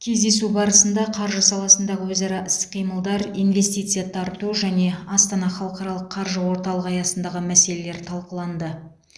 кездесу барысында қаржы саласындағы өзара іс қимылдар инвестиция тарту және астана халықаралық қаржы орталығы аясындағы мәселелер талқыланды